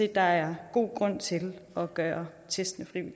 at der er god grund til at gøre testene